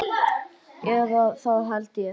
Eða það held ég.